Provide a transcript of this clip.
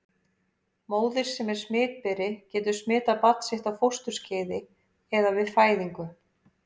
Móðir sem er smitberi getur smitað barn sitt á fósturskeiði eða við fæðingu.